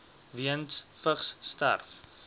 weens vigs sterf